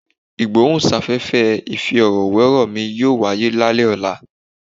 Ìgbóhùn sáfẹ́fẹ́ ìfi ọ̀rọ̀ wé ọ̀rọ̀ mi yóò wáyé lálẹ́ yìí.